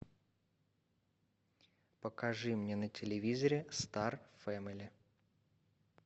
покажи мне на телевизоре стар фэмили